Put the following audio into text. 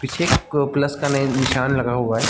पीछे एक प्लस नैय निशान लगा हुआ है।